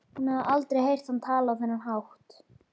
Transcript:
Hún hafði aldrei heyrt hann tala á þennan hátt.